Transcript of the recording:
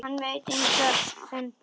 Hann veit enga fremd meiri.